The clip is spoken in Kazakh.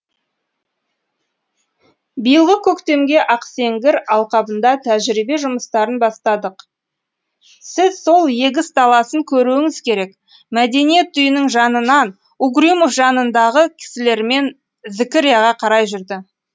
биылғы көктемге ақсеңгір алқабында тәжірибе жұмыстарын бастадық сіз сол егіс даласын көруіңіз керек мәдениет үйінің жанынан угрюмов жанындағы кісілерімен зікірияға қарай жүрді